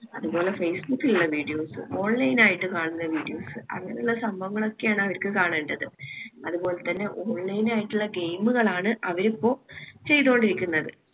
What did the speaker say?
അത് പോലെ ഫേസ്ബുക്കിലിള്ള videos, online ആയിട്ട് കാണുന്ന videos അങ്ങനിള്ള സംഭവങ്ങളൊക്കെ ആണ് അവർക്ക് കാണേണ്ടത് അത് പോലെത്തന്നെ online ആയിട്ടിള്ള game കളാണ് അവരിപ്പോ ചെയ്ത കൊണ്ടിരിക്കുന്നത്